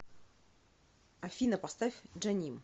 афина поставь джаним